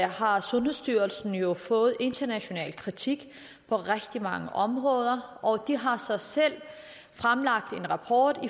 har sundhedsstyrelsen jo fået international kritik på rigtig mange områder og de har så selv fremlagt en rapport